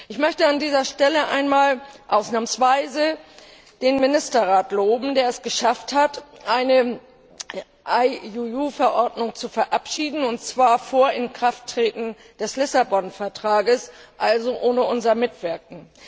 Ich möchte an dieser Stelle einmal ausnahmsweise den Ministerrat loben, der es geschafft hat, eine IUU Verordnung zu verabschieden, und zwar vor Inkrafttreten des Lissabon Vertrags, also ohne unser Mitwirken.